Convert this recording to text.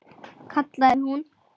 kallaði hún.